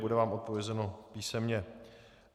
Bude vám odpovězeno písemně.